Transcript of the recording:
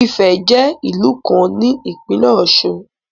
Ifẹ̀ jẹ́ ìlú kan ní ìpínlẹ̀ Ọ̀ṣun.